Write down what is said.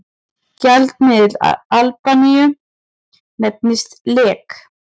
Gjaldmiðill Albaníu nefnist lek.